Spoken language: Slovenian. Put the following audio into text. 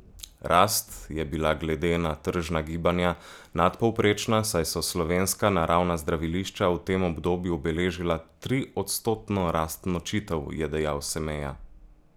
Rast je bila glede na tržna gibanja nadpovprečna, saj so slovenska naravna zdravilišča v tem obdobju beležila triodstotno rast nočitev, je dejal Semeja.